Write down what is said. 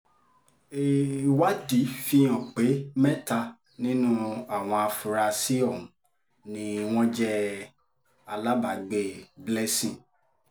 ìwádìí fíhàn pé mẹ́ta nínú àwọn afurasí ọ̀hún ni wọ́n jẹ́ alábàágbé blessing